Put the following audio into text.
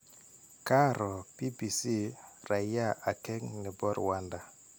Kaaro BBC raia akeng nepo Rwanda.